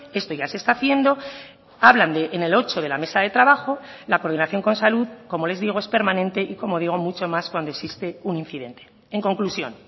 esto ya se está haciendo hablan en el ocho de la mesa de trabajo la coordinación con salud como les digo es permanente y como digo mucho más cuando existe un incidente en conclusión